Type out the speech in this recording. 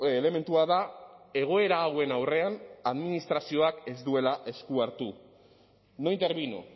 elementua da egoera hauen aurrean administrazioak ez duela esku hartu no intervino